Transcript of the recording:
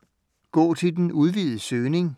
Gå til den udvidede søgning